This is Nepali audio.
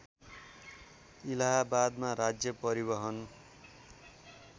इलाहाबादमा राज्य परिवहन